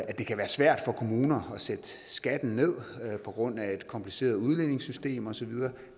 at det kan være svært for kommuner at sætte skatten ned på grund af et kompliceret udligningssystem osv